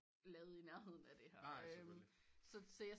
Lavet i nærheden af det her